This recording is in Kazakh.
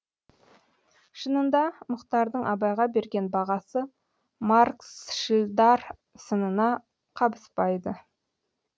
шынында мұхтардың абайға берген бағасы марксшілдар сынына қабыспайды